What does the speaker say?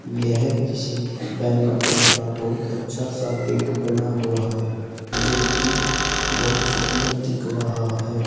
यह किसी banquet hall का बहुत अच्छा सा गेट बना हुआ है जो कि बहुत सुंदर दिख रहा है।